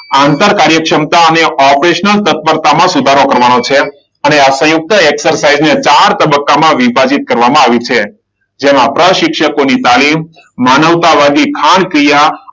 આંતર કાર્ય ક્ષમતા અને ઓપરેશનલ તત્પરતામાં સુધારો કરવાનો છે. અને આ સંયુક્ત એક્સરસાઇઝને ચાર તબક્કામાં વિભાજિત કરવામાં આવી છે. જેમાં પ્રશિક્ષકોની તાલીમ, માનવતાવાદી ખાણક્રિયા, `